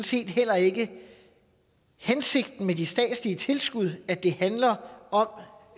set heller ikke hensigten med de statslige tilskud at det handler om